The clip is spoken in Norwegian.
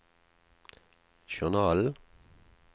journalen